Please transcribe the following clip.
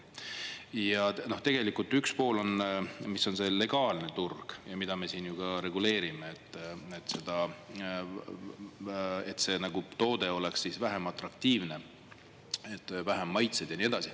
Ja tegelikult üks pool on, mis on see legaalne turg ja mida me siin ju ka reguleerime, seda, et see toode oleks siis vähem atraktiivne, vähem maitseid ja nii edasi.